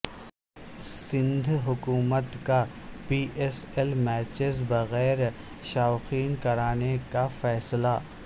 سندھ حکومت کا P S L matches بغیر شائقین کرانے کا فیصلہ